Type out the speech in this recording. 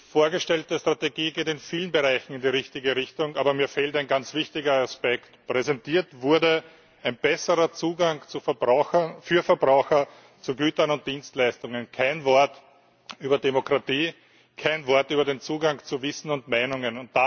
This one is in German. Die vorgestellte Strategie geht in vielen Bereichen in die richtige Richtung. Aber mir fehlt ein ganz wichtiger Aspekt Präsentiert wurde ein besserer Zugang für Verbraucher zu Gütern und Dienstleistungen kein Wort über Demokratie, kein Wort über den Zugang zu Wissen und Meinungen.